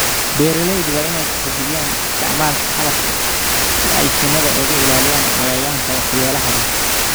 Beeralayda waa in ay tixgeliyaan isticmaalka qalabka si ay shinnida uga ilaaliyaan cayayaanka waxyeelada leh.